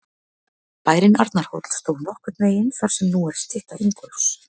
Bærinn Arnarhóll stóð nokkurn veginn þar sem nú er stytta Ingólfs.